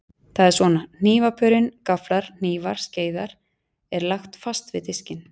Það er svona: Hnífapörin, gafflar, hnífar, skeiðar, er lagt fast við diskinn.